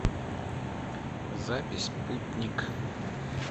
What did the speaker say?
запись путник